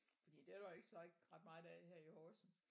Fordi det er der jo så ikke så meget af her i Horsens